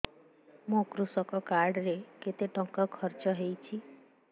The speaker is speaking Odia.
ମୋ କୃଷକ କାର୍ଡ ରେ କେତେ ଟଙ୍କା ଖର୍ଚ୍ଚ ହେଇଚି